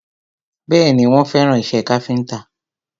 Bẹ́ẹ̀ni, wọ́n fẹ́ràn ìṣe káfíntà